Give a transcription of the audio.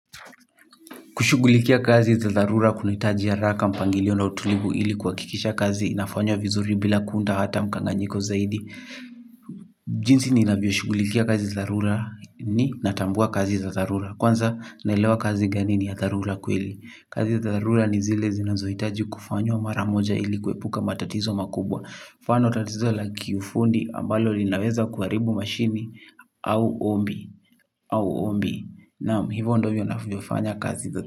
Kushugulikia kazi za dharura kunaitaji haraka mpangilio na utulivu ili kuhakikisha kazi inafanywa vizuri bila kuunda hata mkanganyiko zaidi. Jinsi ninavyo shugulikia kazi za dharura ni natambua kazi za dharura. Kwanza naelewa kazi gani ni ya dharura kweli. Kazi za dharura ni zile zinazoitaji kufanywa maramoja ili kuepuka matatizo makubwa. Mfano tatizo la kiufundi ambalo linaweza kuaribu mashini au ombi. Naam hivyo ndo ivyo navyofanya kazi za.